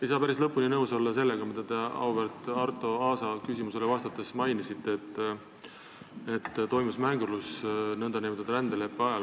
Ei saa päris lõpuni nõus olla sellega, mida te auväärt Arto Aasa küsimusele vastates mainisite, et nn rändeleppe mõttevahetuse ajal toimus mängurlus.